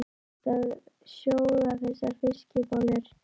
Ertu að sjóða þessar fiskbollur?